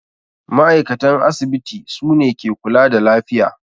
Ma'aikatan asibiti sune ke kula da lafiya